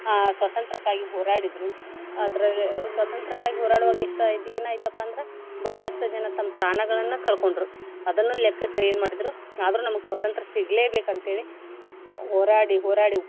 ಆ ಸ್ವಾತಂತ್ರ್ಯಕ್ಕಾಗಿ ಹೋರಾಡಿದ್ರು ಅದ್ರಾಗ ಸ್ವತಂತ್ರ್ಯಕ್ಕಾಗಿ ಹೋರಾಡುವಾಗ ಎಷ್ಟ ಏನಾಯ್ತಪ್ಪಾ ಅಂದ್ರ ಬಹಳಷ್ಟು ಜನ ತಮ್ಮ ಪ್ರಾಣಗಳನ್ನ ಕಳಕೊಂಡ್ರು ಅದನ್ನು ಲೆಕ್ಕಸ್ದೆ ಏನ್ ಮಾಡಿದ್ರು ಆದ್ರು ನಮಗ ಸ್ವತಂತ್ರ್ಯ ಸಿಗ್ಲೇಬೇಕ ಅಂತ ಹೇಳಿ ಹೋರಾಡಿ ಹೋರಾಡಿ.